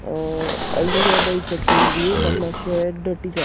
a all together it's a cool view मात मात्शे dirty जा --